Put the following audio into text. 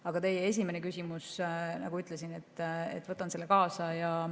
Aga teie esimese küsimuse, nagu ütlesin, võtan kaasa.